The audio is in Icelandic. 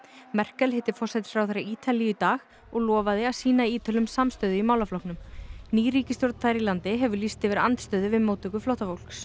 Merkel hitti forsætisráðherra Ítalíu í dag og lofaði að sýna Ítölum samstöðu í málaflokknum ný ríkisstjórn þar í landi hefur lýst yfir andstöðu við móttöku flóttafólks